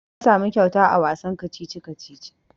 Na samu kyauta a wasan kacici-kacici.